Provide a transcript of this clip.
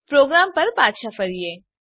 programme પર પાછા ફરીએ